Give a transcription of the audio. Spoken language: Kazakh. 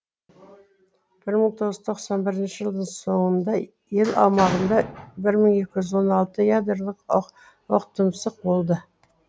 бір мың тоғыз жүз тоқсан бірінші жылдың соңында ел аумағында бір мың екі жүз он алты ядролық оқтұмсық болды